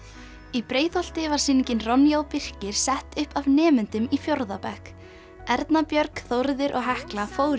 í Breiðholti var sýningin Ronja og Birkir sett upp af nemendum í fjórða bekk Erna Björg og Hekla fóru